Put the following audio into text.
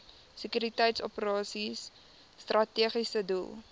sekuriteitsoperasies strategiese doel